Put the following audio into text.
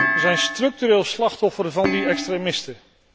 Ze zijn structureel slachtoffer van die extremisten.